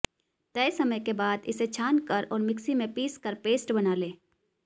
तय समय के बाद इसे छानकर और मिक्सी में पीसकर पेस्ट बना लें